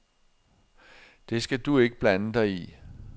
Det skal du ikke blande dig i.